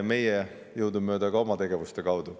Meie anname jõudumööda ka oma tegevuste kaudu.